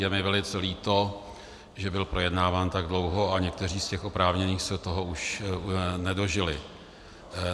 Je mi velice líto, že byl projednáván tak dlouho a někteří z těch oprávněných se toho už nedožili.